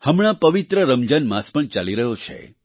હમણાં પવિત્ર રમજાન માસ પણ ચાલી રહ્યો છે